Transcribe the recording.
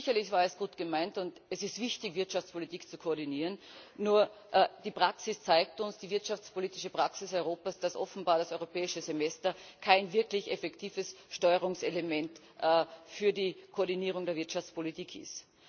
Sicherlich war es gut gemeint, und es ist wichtig, die Wirtschaftspolitik zu koordinieren, nur Die wirtschaftspolitische Praxis Europas zeigt uns, dass offenbar das Europäische Semester kein wirklich effektives Steuerungselement für die Koordinierung der Wirtschaftspolitik ist.